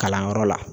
Kalanyɔrɔ la